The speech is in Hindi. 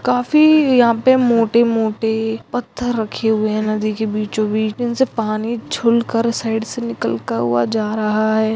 काफ़ी यहाँ पे मोटे मोटे पत्थर रखे हुए नदी के बीचों बीच भी उनके पानी साइड से निकलता हुआ जा रहा हैं।